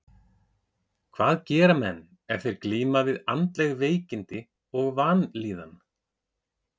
Hvað gera menn ef þeir glíma við andleg veikindi og vanlíðan?